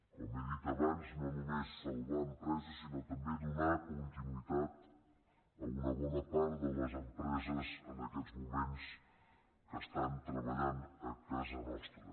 com he dit abans no només sal·var empreses sinó també donar continuïtat a una bona part de les empreses que en aquests moments treba·llen a casa nostra